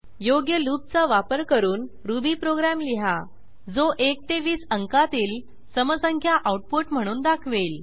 योग्य लूपचा वापर करून रुबी प्रोग्रॅम लिहा जो 1 ते 20 अंकातील समसंख्या आऊटपुट म्हणून दाखवेल